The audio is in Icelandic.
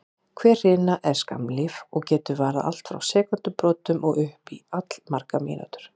Hver hrina er skammlíf og getur varað allt frá sekúndubrotum og upp í allmargar mínútur.